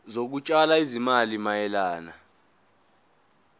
zokutshala izimali mayelana